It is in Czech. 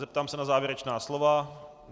Zeptám se na závěrečná slova.